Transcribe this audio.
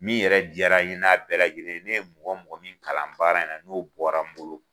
Min yɛrɛ diyara ye n'a bɛɛ lajɛlen ye, ne ye mɔgɔ mɔgɔ min kalan baara in na n'o bɔra n bolo.